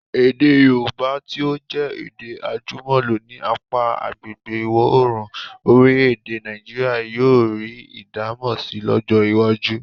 Èdè Yorùbá tí ó jẹ́ èdè àjùmọ̀lò ní apá agbègbè ìwọ̀-oòrùn orílẹ̀-èdè Nàìjíríà yóò rí ìdámọ̀ si lọ́jọ́ iwájú.